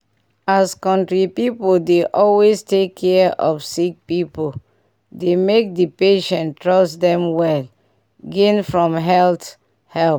as country people dey always take care of sick people dey make the patient trust them well gain from health help.